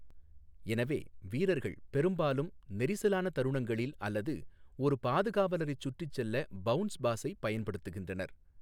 எனவே, வீரர்கள் பெரும்பாலும் நெரிசலான தருணங்களில் அல்லது ஒரு பாதுகாவலரைச் சுற்றி செல்ல பவுன்ஸ் பாஸைப் பயன்படுத்துகின்றனர்.